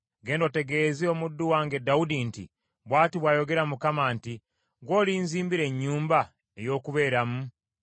“Genda otegeeze omuddu wange Dawudi nti, ‘Bw’ati bw’ayogera Mukama nti, Ggwe olinzimbira ennyumba ey’okubeeramu?